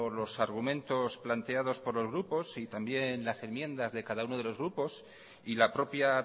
los argumentos planteados por los grupos y también la enmiendas de cada uno de los grupos y la propia